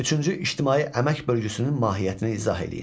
Üçüncü ictimai əmək bölgüsünün mahiyyətini izah eləyin.